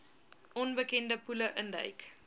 onbekende poele induik